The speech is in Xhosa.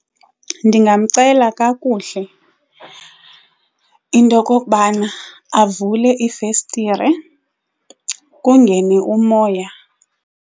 Ndingamcela kakuhle into yokokubana avule iifestire kungene umoya.